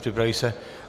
Připraví se -